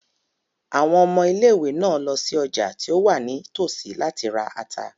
Àwọn ọmọ ilé-ìwé náà lọ sí ọjà tí ó wà ní tòsí láti ra ata.